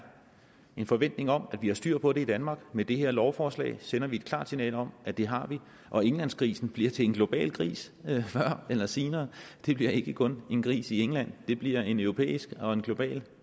en forventning om at vi har styr på det i danmark med det her lovforslag sender vi et klart signal om at det har vi og englandsgrisen bliver til en global gris før eller senere det bliver ikke kun en gris i england det bliver en europæisk og en global